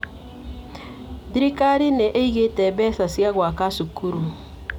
Thirikari nĩ ĩigĩte mbeca cia gwaka cukuru.